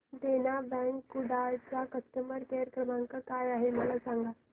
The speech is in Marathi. देना बँक कुडाळ चा कस्टमर केअर क्रमांक काय आहे मला सांगा